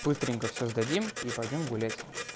быстренько всё сдадим и пойдём гулять